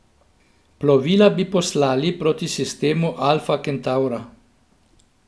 Plovila bi poslali proti sistemu Alfa Kentavra.